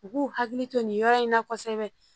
U k'u hakili to nin yɔrɔ in na kosɛbɛ